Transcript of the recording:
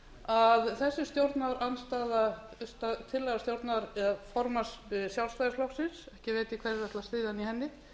að þessi tillaga formanns sjálfstæðisflokksins ég veit ekki hverjir ætla að styðja hann í henni